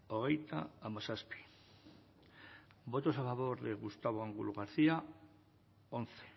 ogeita amasaspi votos a favor de gustavo angulo garcía once